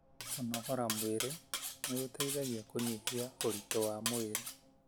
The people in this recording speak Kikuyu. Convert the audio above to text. Kunogora mwĩri nĩ gũteithagia kũnyihia ũritũ wa mwĩrĩ.